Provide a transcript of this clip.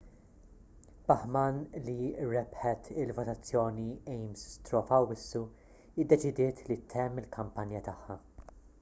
bachmann li rebħet il-votazzjoni ames straw f'awwissu iddeċidiet li ttemm il-kampanja tagħha